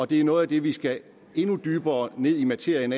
det er noget af det vi skal endnu dybere ned i materien